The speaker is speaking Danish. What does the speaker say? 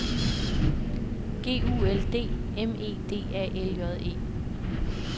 G U L D M E D A L J E